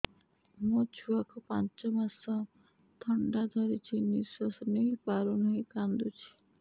ମୋ ଛୁଆକୁ ପାଞ୍ଚ ମାସ ଥଣ୍ଡା ଧରିଛି ନିଶ୍ୱାସ ନେଇ ପାରୁ ନାହିଁ କାଂଦୁଛି